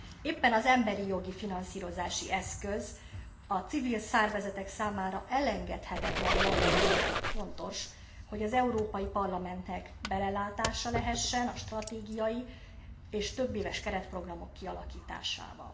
Éppen az emberijogi finanszírozási eszköz a civil szervezetek számára elengedhetetlen jellege miatt fontos, hogy az Európai Parlamentnek belelátása lehessen a stratégiai és többéves keretprogramok kialakításába.